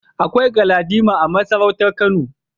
Akwai Galadima a masarautar Kano.